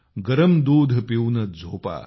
गरम दूध पिऊनच झोपा